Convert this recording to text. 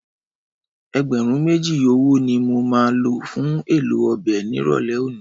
Ẹgbẹ̀rún méjì ọwọ́ ni mo máa lò fún èlò ọbẹ̀ nírọ̀lẹ́ òní.